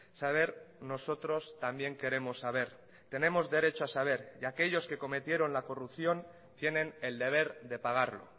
saber nosotros también queremos saber tenemos derecho a saber y aquellos que cometieron la corrupción tienen el deber de pagarlo